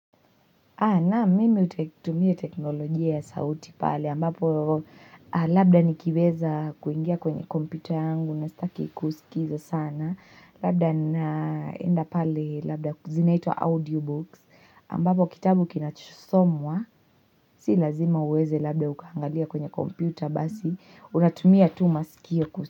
Naam mimi hutumia teknolojia ya sauti pale ambapo labda nikiweza kuingia kwenye kompyuta yangu na sitaki kuusikiza sana Labda naenda pale labda zinaitwa audio books ambapo kitabu kinachosomwa si lazima uweze labda ukaangalia kwenye kompyuta basi natumia tu masikio kusikiza.